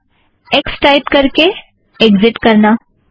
पहला X type करके exit करना